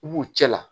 I b'u cɛ la